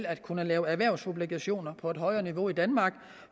at kunne lave erhvervsobligationer på et højere niveau i danmark